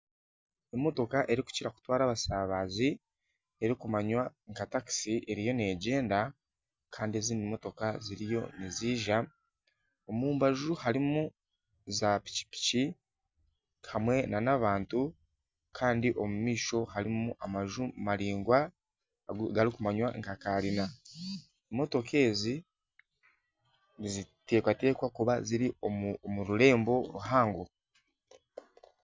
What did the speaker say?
Emotoka erikukira kutwara abasabaazi erikumanwa nka taxi eriyo negyenda kandi ezindi motoka ziriyo niziija. Omu mbaju harimu za piki piki hamwe nana abantu Kandi omu maisho harimu amaju maringwa gari kumanywa nka kanyina. Emotoka ezi nizitekatekwa kuba ziri omu rurembo ruhango.